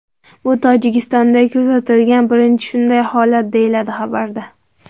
Bu Tojikistonda kuzatilgan birinchi shunday holat, deyiladi xabarda.